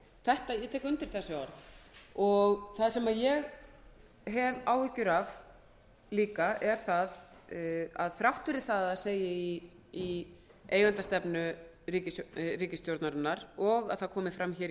ég tek undir þessi orð það sem ég hef líka áhyggjur af er að þrátt fyrir að það segi í eigendastefnu ríkisstjórnarinnar og að það komi fram í